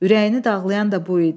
Ürəyini dağlayan da bu idi.